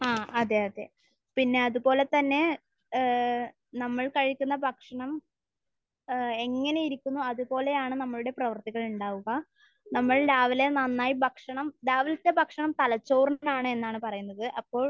ആഹ്. അതെ. അതെ. പിന്നെ, അത്പോലെ തന്നെ ഏഹ് നമ്മൾ കഴിക്കുന്ന ഭക്ഷണം ഏഹ് എങ്ങനെയിരിക്കുന്നു അത് പോലെയാണ് നമ്മളുടെ പ്രവർത്തികൾ ഉണ്ടാവുക. നമ്മൾ രാവിലെ നന്നായി ഭക്ഷണം...രാവിലത്തെ ഭക്ഷണം തലച്ചോറിനാണ് എന്നാണ് പറയുന്നത്. അപ്പോൾ